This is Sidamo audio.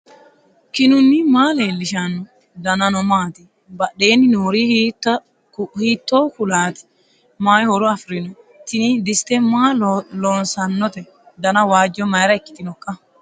knuni maa leellishanno ? danano maati ? badheenni noori hiitto kuulaati ? mayi horo afirino ? tini diste maa loossannote dana waajjo mayra ikkitinoikka